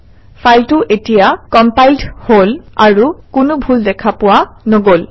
ফাইলটো এতিয়া কম্পাইলড হল আৰু কোনো ভুল ত্ৰুটি দেখা পোৱা নগল